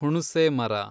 ಹುಣುಸೆ ಮರ